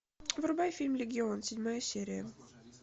врубай фильм легион седьмая серия